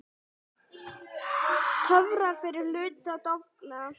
Töfrar fyrri hlutans dofna.